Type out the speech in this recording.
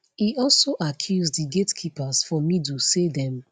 e also accuse di gatekeepers for middle say dem